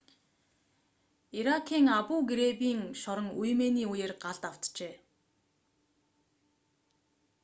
иракийн абу-грейбийн шорон үймээний үеэр галд автжээ